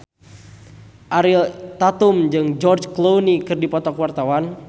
Ariel Tatum jeung George Clooney keur dipoto ku wartawan